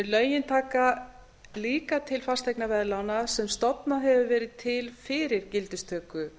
lögin taka líka til fasteignaveðlána sem stofnað hefur verið til fyrir gildistöku